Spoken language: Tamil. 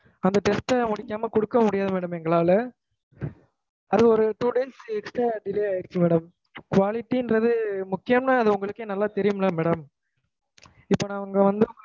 அந்த test ட முடிக்காம குடுக்க முடியாது madam எங்கனால அது ஒரு two days extra delay ஆகிடுச்சு madam . Quality ங்கறது முக்கியம் அது உங்களுக்கே நல்லா தெரியும்ல madam இப்ப நான் அங்கவந்து